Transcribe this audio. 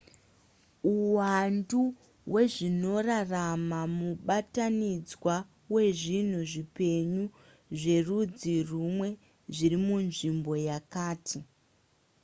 uwandu hwezvinorarama mubatanidzwa wezvinhu zvipenyu zverudzi rumwe zviri munzvimbo yakati